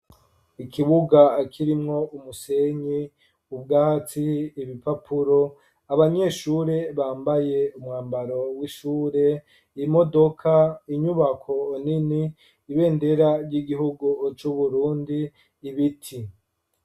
Ikibuga kirimwo umusenyi, ubwatsi, ibipapuro, abanyeshure bambaye umwambaro w'ishure, imodoka, inyubako nini, ibendera ry'igihugu c'Uburundi, ibiti.